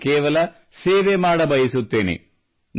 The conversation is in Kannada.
ನಾನು ಕೇವಲ ಸೇವೆ ಮಾಡಬಯಸುತ್ತೇನೆ